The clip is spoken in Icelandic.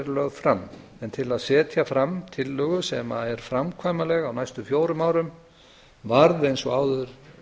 lögð fram en til að setja fram tillögu sem er framkvæmanleg á næstu fjórum árum varð eins og áður